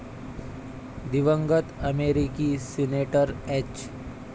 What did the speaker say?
दिवंगत अमेरिकी senator H.